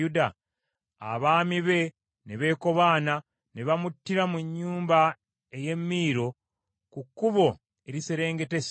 Abaami be ne beekobaana, ne bamuttira mu nnyumba ey’e Miiro, ku kkubo eriserengeta e Siiro.